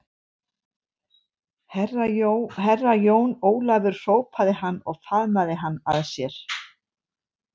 Herra Jón Ólafur hrópaði hann og faðmaði hann að sér.